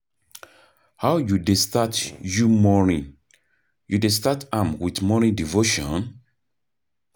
how you dey start you morning, you dey start am with morning devotion?